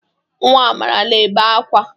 Nwa Amara na-ebe akwa.